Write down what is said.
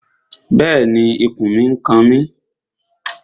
Bẹ́ẹ̀ni, ikùn mi n kan mi